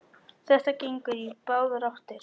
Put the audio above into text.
Þetta gengur í báðar áttir.